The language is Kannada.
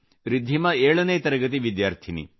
ರಿದ್ಧಿಮಾ 7 ನೇ ತರಗತಿ ವಿದ್ಯಾರ್ಥಿನಿ